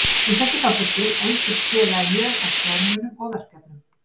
Við þessi þáttaskil efldist félagið mjög að fjármunum og verkefnum.